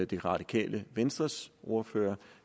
det radikale venstres ordfører